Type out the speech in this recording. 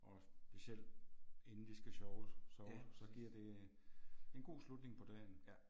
Og specielt inden de skal sjove sove så giver det en en god slutning på dagen